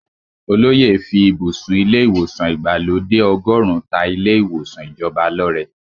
Olóyè fí ibùsùn ilé ìwòsàn ìgbàlódé ọgọ́run ta ilé ìwòsàn ìjọba lọ́rẹ.